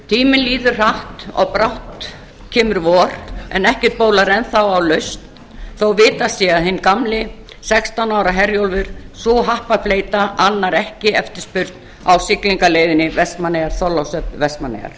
tíminn líður hratt og brátt kemur vor en ekkert bólar enn þá á lausn þó vitað sé að hinn gamli sextán ára herjólfur sú happafleyta annar ekki eftirspurn á siglingaleiðinni vestmannaeyjar vestmannaeyjar